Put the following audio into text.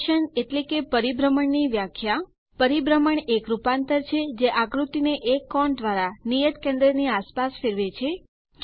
rotation એટલે કે પરિભ્રમણ ની વ્યાખ્યા પરિભ્રમણ એક રૂપાંતર છે જે આકૃતિ ને એક કોણ દ્વારા નિયત કેન્દ્ર ની આસપાસ ફેરવે છે